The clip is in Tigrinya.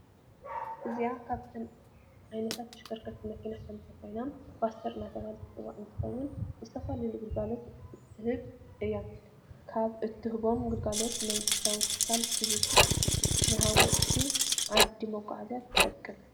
እዚአ ካብተን ዓይነታት ተሽከርከርቲ መኪና ሐንቲ ኮይና ፖስተር እናተበሃለት ትፅዋዕ እንትኸውን ንዝተፈላለዩ ግልጋሎት እትብ እያ። ካብ እትህቦም ግልጋሎታት ንመንግስታዊ ትካላ ሰርቪስ፣ ንሃወፅቲ ዓዲ መጓዓዝያ ትጠቅም።